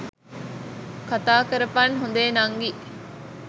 කතාකරපන් හොඳේ නංගී.